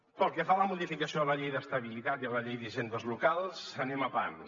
pel que fa a la modificació de la llei d’estabilitat i la llei d’hisendes locals anem a pams